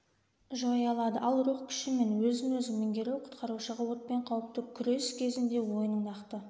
жоя алады ал рух күші мен өзін-өзі меңгеру құтқарушыға отпен қауіпті күрес кезінде ойының нақты